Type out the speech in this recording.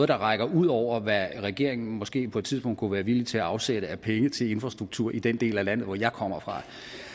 der rækker ud over hvad regeringen måske på et tidspunkt kunne være villig til at afsætte af penge til af infrastruktur i den del af landet hvor jeg kommer fra